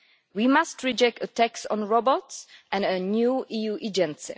We must reject attacks on robots, and a new EU agency.